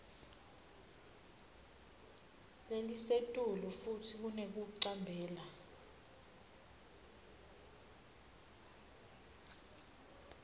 lelisetulu futsi kunekuticambela